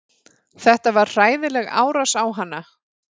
Þetta var hræðileg árás á hana